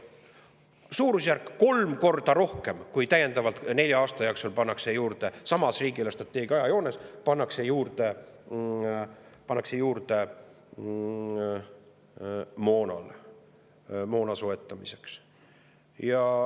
Suurusjärgus kolm korda rohkem, kui pannakse täiendavalt nelja aasta jooksul juurde samas riigi eelarvestrateegia ajajoones moona soetamiseks.